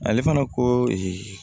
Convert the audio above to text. Ale fana ko